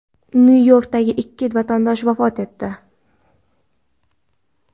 Nyu-Yorkda ikki vatandosh vafot etdi.